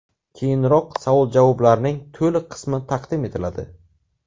Keyinroq savol-javoblarning to‘liq qismi taqdim etiladi.